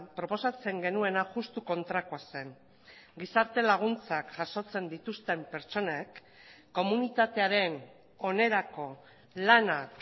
proposatzen genuena juxtu kontrakoa zen gizarte laguntzak jasotzen dituzten pertsonek komunitatearen onerako lanak